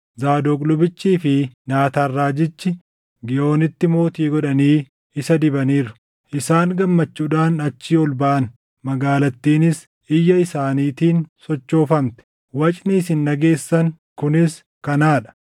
Zaadoq lubichii fi Naataan raajichi Giihoonitti mootii godhanii isa dibaniiru. Isaan gammachuudhaan achii ol baʼan; magaalattiinis iyya isaaniitiin sochoofamte; wacni isin dhageessan kunis kanaa dha.